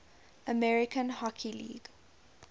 american hockey league